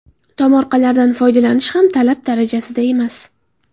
Tomorqalardan foydalanish ham talab darajasida emas.